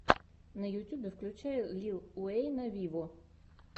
на ютюбе включай лил уэйна виво